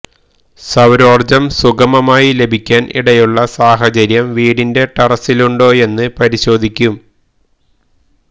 സൌരോര്ജ്ജം സുഗമമായി ലഭിക്കാന് ഇടയുള്ള സാഹചര്യം വീടിന്റെ ടെറസിലുണ്ടോയെന്ന് പരിശോധിക്കും